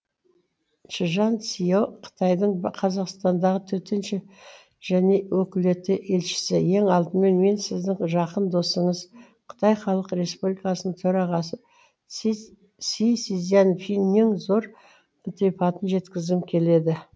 чжан сяо қытайдың қазақстандағы төтенше және өкілетті елшісі ең алдымен мен сіздің жақын досыңыз қытай халық республикасының төрағасы си цзиньпиннің зор ілтипатын жеткізгім келеді